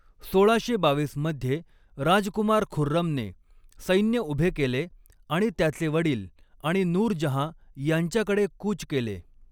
सोळाशे बावीस मध्ये राजकुमार खुर्रमने सैन्य उभे केले आणि त्याचे वडील आणि नूरजहाँ यांच्याकडे कूच केले.